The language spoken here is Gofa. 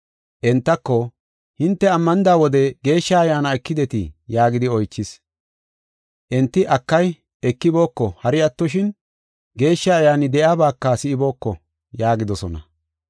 Entako, “Hinte ammanida wode Geeshsha Ayyaana ekidetii?” yaagidi oychis. Enti, “Akay, ekibooko; hari attoshin, Geeshsha Ayyaani de7iyabaka si7ibooko” yaagidosona.